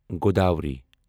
Godavari